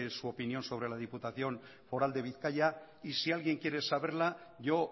es su opinión sobre la diputación foral de bizkaia y si alguien quiere saberla yo